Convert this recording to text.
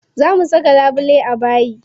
Za mu saka labule a bayi.